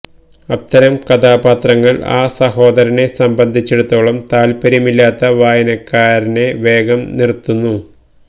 അത്തരം കഥാപാത്രങ്ങൾ ആ സഹോദരനെ സംബന്ധിച്ചിടത്തോളം താത്പര്യമില്ലാത്ത വായനക്കാരനെ വേഗം നിർത്തുന്നു